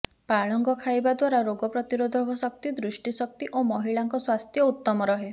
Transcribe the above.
ପାଳଙ୍ଗ ଖାଇବା ଦ୍ୱାରା ରୋଗ ପ୍ରତିରୋଧକ ଶକ୍ତି ଦୃଷ୍ଟିଶକ୍ତି ଓ ମହିଳାଙ୍କ ସ୍ୱାସ୍ଥ୍ୟ ଉତ୍ତମ ରହେ